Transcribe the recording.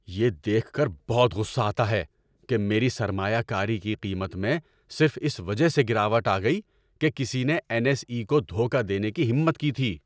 یہ دیکھ کر بہت غصہ آتا ہے کہ میری سرمایہ کاری کی قیمت میں صرف اس وجہ سے گراوٹ آ گئی کہ کسی نے این ایس ای کو دھوکہ دینے کی ہمت کی تھی۔